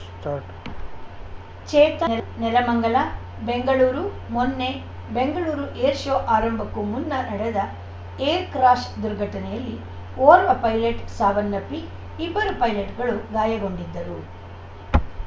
start Chetan Nelamangala Bengaluru ಮೊನ್ನೆ Bengaluru air show ಆರಂಭಕ್ಕೂ ಮುನ್ನ ನಡೆದ ಏರ್‌ ಕ್ರಾಶ್‌ ದುರ್ಘಟನೆಯಲ್ಲಿ ಓರ್ವ ಪೈಲೆಟ್‌ ಸಾವನ್ನಪ್ಪಿ ಇಬ್ಬರು ಪೈಲೆಟ್‌ಗಳು ಗಾಯಗೊಂಡಿದ್ದರು